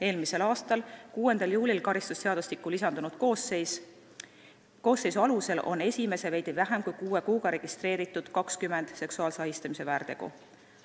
Eelmise aasta 6. juulil karistusseadustikku lisandunud koosseisu alusel on esimese veidi vähem kui kuue kuuga registreeritud 20 seksuaalse ahistamise väärtegu.